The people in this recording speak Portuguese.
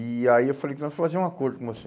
E aí eu falei, vamos fazer um acordo com você.